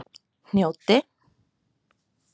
Hnjóti